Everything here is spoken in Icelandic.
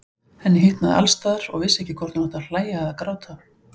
Henni hitnaði alls staðar og vissi ekki hvort hún átti að hlæja eða gráta.